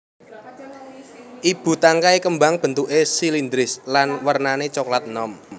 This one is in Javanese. Ibu tangkai kembang bentuké silindris lan wernané coklat enom